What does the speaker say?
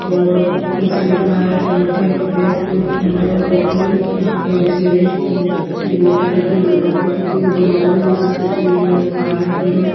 और पीछे लिखा है एक बोट है बेस्ट नंबर वन कॉफी यहाँ पर एक बिसलरी की अ बोतल रखी है दो कॉफी रखी है दो बाउल है जिसमें कुछ ये लोग खा रहे हैं पि रहे --